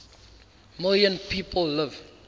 million people live